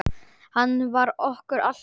Hann vann okkur alltaf.